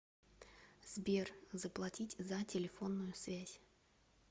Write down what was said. сбер заплатить за телефонную связь